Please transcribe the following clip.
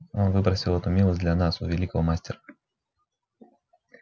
он выпросил эту милость для нас у великого мастера